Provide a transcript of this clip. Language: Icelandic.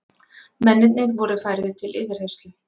Mennirnir voru færðir til yfirheyrslu